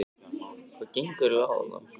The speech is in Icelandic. HVAÐ GENGUR EIGINLEGA Á ÞARNA?